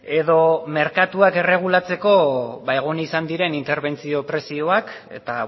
edo merkatuak erregulatzeko egon izan diren interbentzio prezioak eta